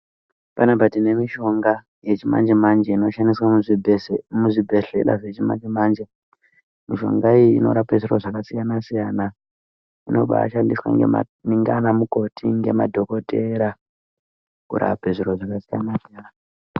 Panapa tine mishonga yechimanje manje inoshandiswa muzvibhedhlera zvechimanje manje mishonga iyi inorape zviro zvakasiyana siyana inobashandiswa ndiana mukoti nemadhokotera kurape zviro zvakasiyana siyana.